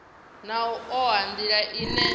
na u oa nila ine